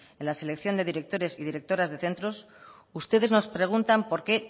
en la selección de directores y directoras de centros ustedes nos preguntan por qué